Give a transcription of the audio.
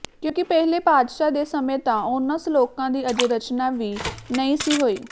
ਕਿਉਂਕਿ ਪਹਿਲੇ ਪਾਤਸ਼ਾਹ ਦੇ ਸਮੇਂ ਤਾਂ ਉਨ੍ਹਾਂ ਸਲੋਕਾਂ ਦੀ ਅਜੇ ਰਚਨਾ ਵੀ ਨਹੀਂ ਸੀ ਹੋਈ